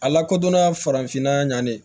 A lakodɔnna farafinna ɲani